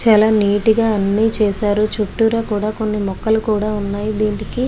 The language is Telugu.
చాల నీట్ గా అన్ని చేసారు చుట్టూరా కూడా కొన్ని మొక్కలు కూడా వున్నాయి వీటికి --